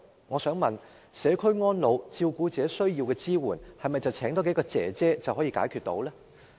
我想問社區安老和照顧者所需要的支援，是否多聘請幾名外傭便可解決？